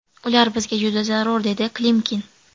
Ular bizga juda zarur, dedi Klimkin.